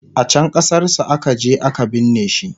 a can ƙasar su akaje a ka binne shi